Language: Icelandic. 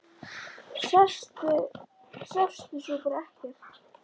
Sástu svo bara ekkert?